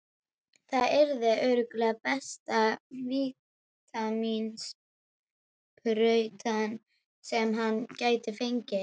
Það yrði örugglega besta vítamínsprauta sem hann gæti fengið.